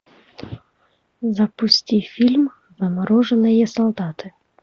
запусти фильм замороженные солдаты